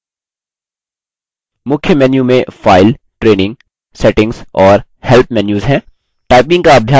मुख्य menu में file training settings और help menus हैं